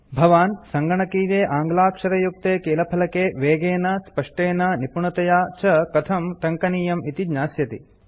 भवान् सङ्गणकीये आङ्ग्लाक्षरयुक्ते कीलफलके वेगेन स्पष्टेन निपुणतया च कथं टङ्कनीयम् इति ज्ञास्यति